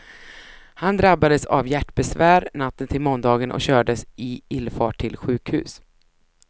Han drabbades av hjärtbesvär natten till måndagen och kördes i ilfart till sjukhus.